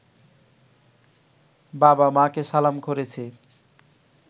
বাবা-মাকে সালাম করেছি